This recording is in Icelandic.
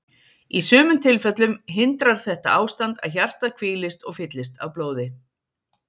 Í sumum tilfellum hindrar þetta ástand að hjartað hvílist og fyllist af blóði.